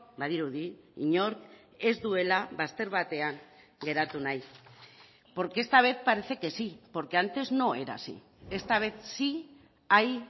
badirudi inork ez duela bazter batean geratu nahi porque esta vez parece que sí porque antes no era así esta vez sí hay